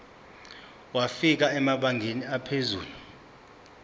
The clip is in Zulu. wafika emabangeni aphezulu